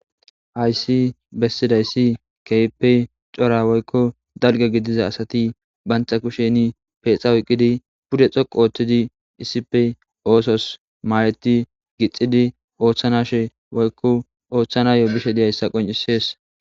Hayssi bessidayssi keyppe cora woykko dalga gidiza asati bantha kusheni peexa oyqqidi pude xoqu ooththidi issipe oosos maaleti gixidi ooththanashe woykko ooththanayo bishe diyayssa qoncisees.